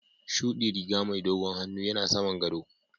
shuɗi riga mai dogon hannu yana saman gaɗo.